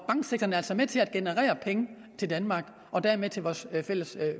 altså med til at generere penge til danmark og dermed til vores fælles